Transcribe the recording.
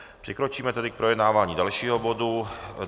Přikročíme tedy k projednávání dalšího bodu.